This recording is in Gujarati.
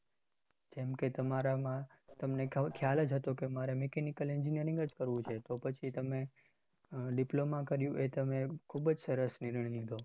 કેમકે તમારા માં તમને ખ્યાલ જ હતો કે માર mechanical engineering જ કરવું છે તો પછી તમારે diploma કર્યું એ તમે ખુબ જ સરસ નિર્ણય લીધો.